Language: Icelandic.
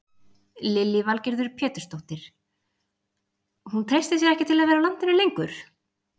Lillý Valgerður Pétursdóttir: Hún treystir sér ekki til að vera á landinu lengur?